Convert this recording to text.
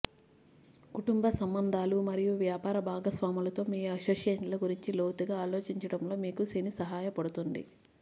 కుటుంబ సంబంధాలు మరియు వ్యాపార భాగస్వాములతో మీ అసోసియేషన్ల గురించి లోతుగా ఆలోచించడంలో మీకు శని సహాయపడుతుంది